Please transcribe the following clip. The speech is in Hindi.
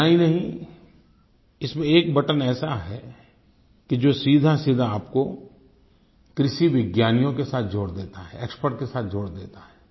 इतना ही नहीं इसमें एक बटन ऐसा है कि जो सीधासीधा आपको कृषि वैज्ञानिकों के साथ जोड़ देता है एक्सपर्ट के साथ जोड़ देता है